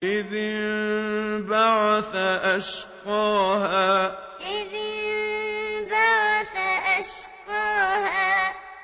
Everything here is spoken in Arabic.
إِذِ انبَعَثَ أَشْقَاهَا إِذِ انبَعَثَ أَشْقَاهَا